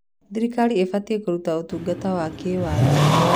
Thirikari ĩbatiĩ kũruta ũtungata wa kĩwatho.